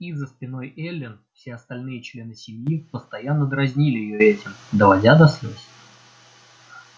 и за спиной эллин все остальные члены семьи постоянно дразнили её этим доводя до слез